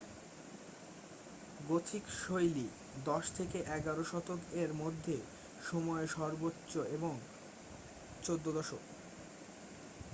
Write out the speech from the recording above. Gothic শৈলী 10 - 11 শতক এর মধ্যে সময়ে সর্বোচ্চ এবং 14 শতক